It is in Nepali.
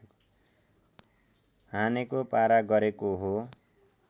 हानेको पारा गरेको हो